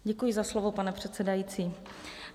Děkuji za slovo, pane předsedající.